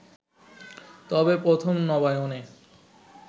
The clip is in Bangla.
তবে প্রথম নবায়নে